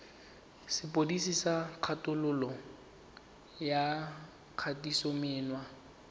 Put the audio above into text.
sepodisi sa kgololo ya kgatisomenwa